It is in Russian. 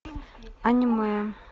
аниме